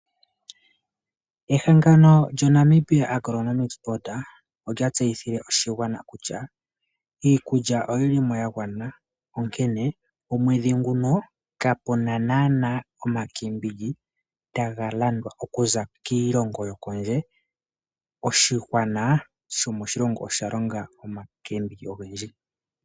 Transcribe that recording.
Ehangano lyo Namibia Agronomic sport olya tseyithile oshigwana kutya iikulya oyili mo ya gwana, onkene omwedhi nguno kapuna naana omakeebiji taga landwa okuza kiilongo yokondje, oshigwana shomoshilongo oshalonga omakeembiji ogendji.